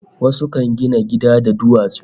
Wasu kan gina gida da duwatsu